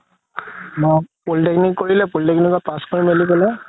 মই polytechnic কৰিলে polytechnic ত pass কৰি মিলি পেলাই